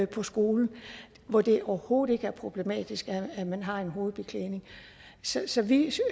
på skolen hvor det overhovedet ikke er problematisk at man har en hovedbeklædning så så vi